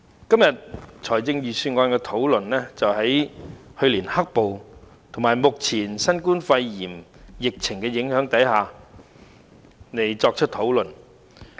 今天，財政預算案的討論是在去年"黑暴"與目前新型冠狀病毒疫情的影響下進行。